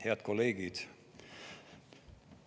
Head kolleegid!